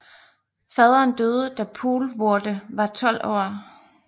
Faderen døde da Poelvoorde var 12 år